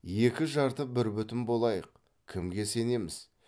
екі жарты бір бүтін болайық кімге сенеміз